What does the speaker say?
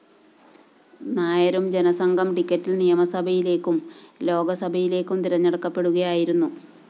നായരും ജനസംഘം ടിക്കറ്റില്‍ നിയമസഭയിലേക്കും ലോക്സഭയിലേക്കും തിരഞ്ഞെടുക്കപ്പെടുകയായിരുന്നു